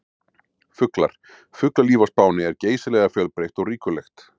Fuglar: Fuglalíf á Spáni er geysilega fjölbreytt og ríkulegt.